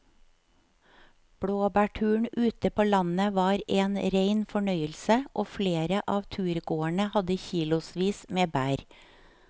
Blåbærturen ute på landet var en rein fornøyelse og flere av turgåerene hadde kilosvis med bær.